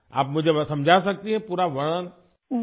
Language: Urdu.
کیا آپ مجھے مکمل تفصیل بتا سکتی ہیں؟